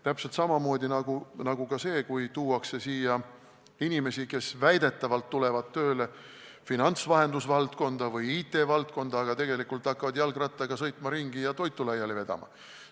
Täpselt samamoodi nagu ka see, kui tuuakse siia inimesi, kes väidetavalt tulevad tööle finantsvahendusvaldkonda või IT-valdkonda, aga tegelikult hakkavad jalgrattaga ringi sõitma ja toitu laiali vedama.